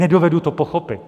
Nedovedu to pochopit.